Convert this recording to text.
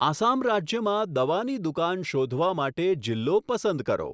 આસામ રાજ્યમાં દવાની દુકાન શોધવા માટે જિલ્લો પસંદ કરો.